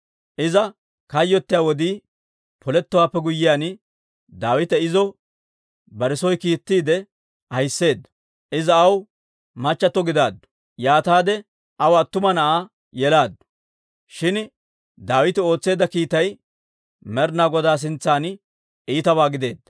Iza kayyottiyaa wodii polettowaappe guyyiyaan, Daawite izo bare soo kiittiide ahisseedda. Iza aw machchattio gidaaddu; yaataade aw attuma na'aa yelaaddu. Shin Daawite ootseedda kiitay Med'inaa Godaa sintsan iitabaa gideedda.